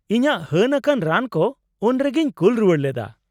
ᱤᱧᱟᱹᱜ ᱦᱟᱹᱱ ᱟᱠᱟᱱ ᱨᱟᱱ ᱠᱚ ᱩᱱᱨᱮᱜᱮᱧ ᱠᱩᱞ ᱨᱩᱣᱟᱹᱲ ᱞᱮᱫᱟ ᱾